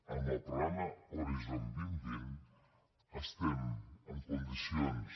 amb el programa horizon dos mil vint estem en condicions